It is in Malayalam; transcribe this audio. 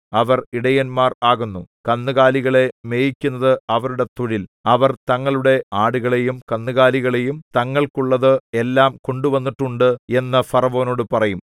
അവർ ഇടയന്മാർ ആകുന്നു കന്നുകാലികളെ മേയിക്കുന്നത് അവരുടെ തൊഴിൽ അവർ തങ്ങളുടെ ആടുകളെയും കന്നുകാലികളെയും തങ്ങൾക്കുള്ളത് എല്ലാം കൊണ്ടുവന്നിട്ടുണ്ട് എന്ന് ഫറവോനോട് പറയും